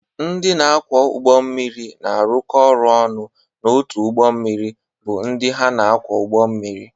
Ndị na-akwọ ụgbọ mmiri na-arụkọ ọrụ ọnụ n’otu ụgbọ mmiri bụ ndị ha na-akwọ ụgbọ mmiri.